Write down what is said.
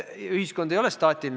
Ühiskond ei ole staatiline.